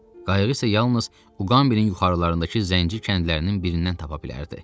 Qayıq isə yalnız Uqambinin yuxarılarındakı zənci kəndlərinin birindən tapa bilərdi.